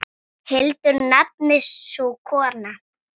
Hildur nefnist sú kona.